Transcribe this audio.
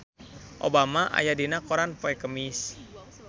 Obama aya dina koran poe Kemis